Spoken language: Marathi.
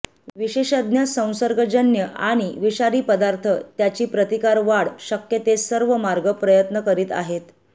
विशेषज्ञ संसर्गजन्य आणि विषारी पदार्थ त्याची प्रतिकार वाढ शक्य ते सर्व मार्ग प्रयत्न करीत आहेत